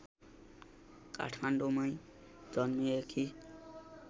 काठमाडौँंमै जन्मिएकी